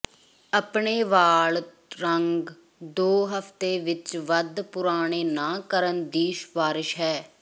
ਆਪਣੇ ਵਾਲ ਰੰਗ ਦੋ ਹਫਤੇ ਵਿੱਚ ਵੱਧ ਪੁਰਾਣੇ ਨਾ ਕਰਨ ਦੀ ਸਿਫਾਰਸ਼ ਹੈ